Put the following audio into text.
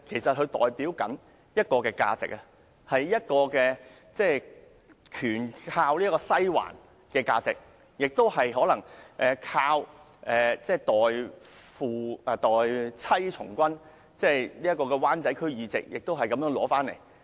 因為他代表一種價值，一種完全依賴"西環"的價值，亦可能是一種代妻從軍的價值，其灣仔區議席亦可能是因此而獲得。